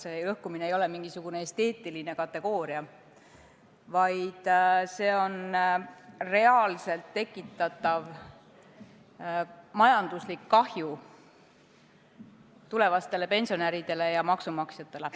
See lõhkumine ei ole mingisugune esteetiline kategooria, vaid see on reaalselt tekitatav majanduslik kahju tulevastele pensionäridele ja maksumaksjatele.